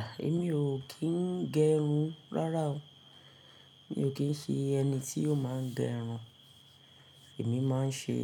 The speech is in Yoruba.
À, èmi ò kí ń gẹ irun rárá o. Mi ò kí ń ṣe ẹni tí ò máa gẹ irun. Èmi máa ń ṣe,